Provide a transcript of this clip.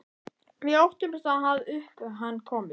Við óttumst að upp um hann komist.